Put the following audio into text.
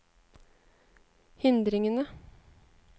hindringene